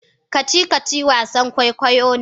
kacici-kacici wasan kwoikwayo ne